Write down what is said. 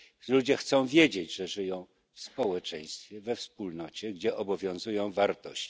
Ludzie chcą wiedzieć, że żyją w społeczeństwie, we wspólnocie, gdzie obowiązują wartości.